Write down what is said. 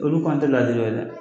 Olu kɔn tɛ laɲini wɛrɛ la